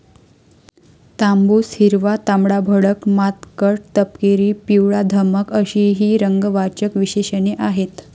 तांबूस, हिरवा, तांबडाभडक, मातकट, तपकिरी, पिवळाधमक अशी ही रंगवाचक विशेषणे आहेत.